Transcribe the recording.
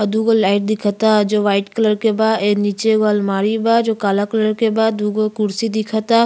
और दू गो लाइट दिखअ ता जो वाइट कलर के बा। ए नीचे एगो अलमारी बा जो काला कलर के बा। दूगो कुर्सी दिख ता।